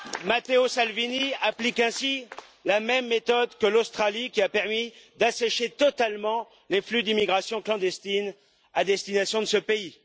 Matteo Salvini applique ainsi la même méthode que l'Australie qui a permis d'assécher totalement les flux d'immigration clandestine à destination de ce pays.